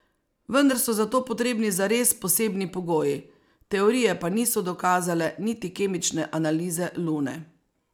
Vendar so za to potrebni zares posebni pogoji, teorije pa niso dokazale niti kemične analize Lune.